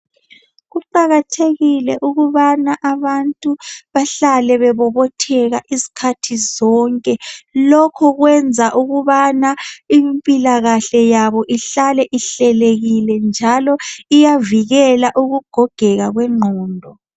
Kuqakathekile ukubana abantu bahlale bebobotheka izikhathi zonke lokhu kwenza ukubana impilakahle yabo ihlale ihlelekile njalo iyavikela ukugogeka kwengqondo.